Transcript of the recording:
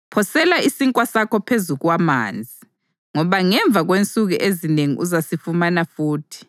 Phosela isinkwa sakho phezu kwamanzi, ngoba ngemva kwensuku ezinengi uzasifumana futhi.